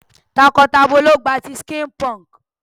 Takọ tabọ lo gba ti skin punk.